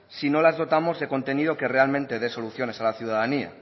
si no las dotamos de contenido que realmente dé soluciones a la ciudadanía